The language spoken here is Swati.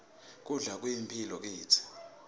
kudla kuyimphilo kitsi